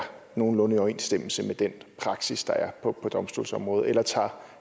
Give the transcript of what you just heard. nogenlunde i overensstemmelse med den praksis der er på domstolsområdet eller tager